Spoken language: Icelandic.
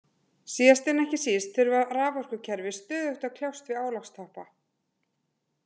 Síðast en ekki síst þurfa raforkukerfi stöðugt að kljást við álagstoppa.